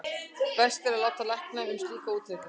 best er að láta lækna um slíka útreikninga